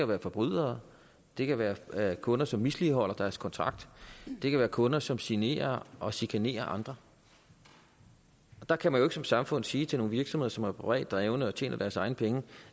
være forbrydere det kan være kunder som misligholder deres kontrakt det kan være kunder som generer og chikanerer andre og der kan man jo ikke som samfund sige til nogle virksomheder som er privat drevet og tjener deres egne penge